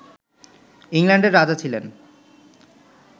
ইংল্যান্ডের রাজা ছিলেন